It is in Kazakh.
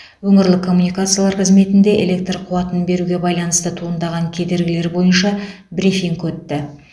өңірлік коммуникациялар қызметінде электр қуатын беруге байланысты туындаған кедергілер бойынша брифинг өтті